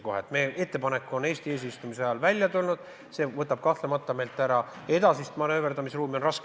Kui selline ettepanek on Eesti eesistumise ajal välja tulnud, siis see võtab meilt kahtlemata ära edasist manööverdamisruumi.